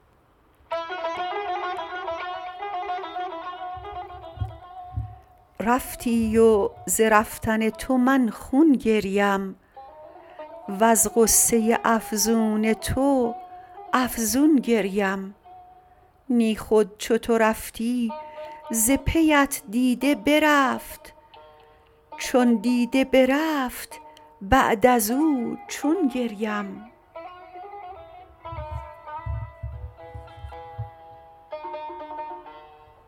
رفتی و ز رفتن تو من خون گریم وز غصه افزون تو افزون گریم نی خود چو تو رفتی ز پیت دیده برفت چون دیده برفت بعد از او چون گریم